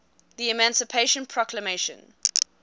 the emancipation proclamation